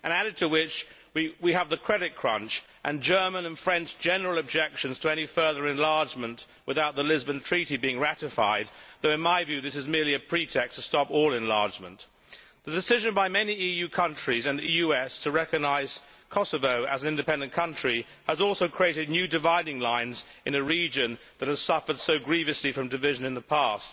Added to this we have the credit crunch and German and French general objections to any further enlargement without the Lisbon Treaty being ratified, though in my view this is merely a pretext to stop all enlargement. The decision by many EU countries and the US to recognise Kosovo as an independent country has also created new dividing lines in a region that has suffered so grievously from division in the past.